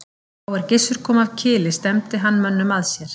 Þá er Gissur kom af Kili stefndi hann mönnum að sér.